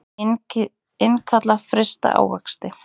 Innkalla frysta ávexti